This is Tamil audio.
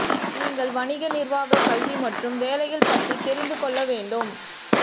நீங்கள் வணிக நிர்வாக கல்வி மற்றும் வேலைகள் பற்றி தெரிந்து கொள்ள வேண்டும்